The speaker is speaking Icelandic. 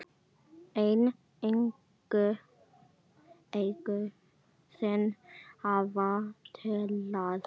En augu þín hafa talað.